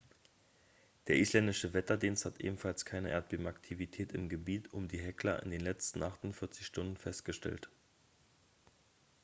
der isländische wetterdienst hat ebenfalls keine erdbebenaktivität im gebiet um die hekla in den letzten 48 stunden festgestellt